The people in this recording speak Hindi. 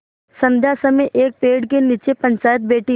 संध्या समय एक पेड़ के नीचे पंचायत बैठी